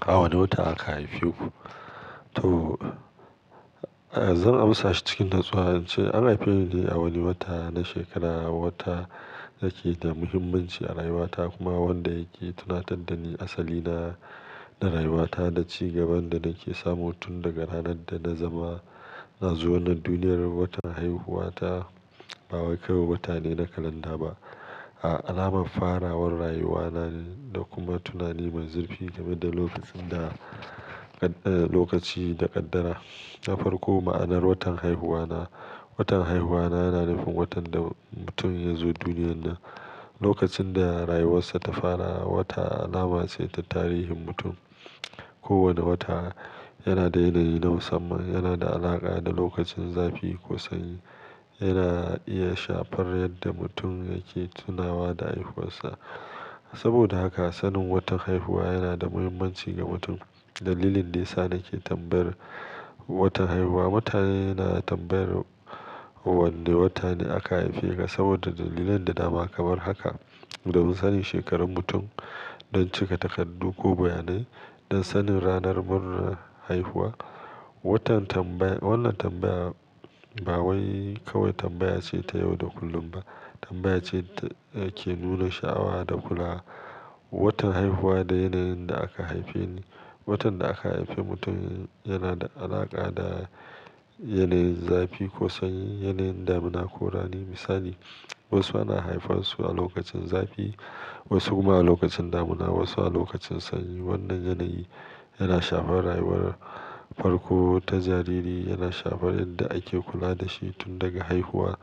A wane wata aka haife ku? To, eh, zan amsa shi cikin natsuwa, ce An haife ni ne a wani wata na shekara, wata da ke da muhimmanci a rayuwata kuma wanda yake tunatar da ni asali na, da rayuwata da ci gaban da nake samu tun daga ranar da na zama, na zo wannan duniyar. Watan haihuwa ta ba wai kawai wata ne na kalanda ba, a alamar farawar rayuwa na ne, da kuma tunani mai zurfi game da lokacin da, eh, lokaci da ƙaddara. Na farko, ma'anar watan haihuwa na, Watan haihuwa na yana nufin watan da mutum ya zo duniyar nan. Lokacin da rayuwarsa ta fara, wata alama ce ta tarihin mutum. Kowane wata yana da yana na musamman, yana da alaƙa da lokacin zafi ko sanyi. Yana iya shafar yadda mutum yake tunawa da haihuwar sa. Saboda haka, sanin watan haihuwa yana da muhimmanci ga mutum. Dalilin daya sa nake tambayar watan haihuwa, Mutane na tambayar wanne watane aka haife ka, saboda dalilan da dama kamar haka, don sanin shekarun mutum, don cika takardu ko bayanai, don sanin ranar murnar haihuwa, Watan tambaya-- wannan tambaya ba wai kawai tambaya ce ta yau da kullum ba, tambaya ce ke nuna sha'awa da kula, Watan haihuwa da yanayin da aka haife ni. Watan da aka haife mutum yana da alaƙa da yanayin zafi ko sanyi, yanayin damuna ko rani. Misali, wasu ana haifan su a lokacin zafi, wasu kuma a lokacin damuna, wasu a lokacin sanyi, Wannan yanayi, yana shafar rayuwar farko ta jariri, yana shafar yadda ake kula da shi tun daga haihuwa.